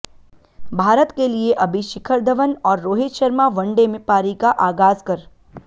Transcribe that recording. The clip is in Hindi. भारत के लिए अभी शिखर धवन और रोहित शर्मा वनडे में पारी का आगाज कर